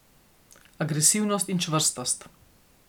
Agresivnost in čvrstost.